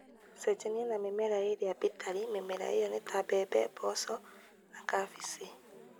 Cenjania na mĩmera ĩrĩa bĩtarĩ mĩmera ĩyo, ta mbembe, mboco na cabici.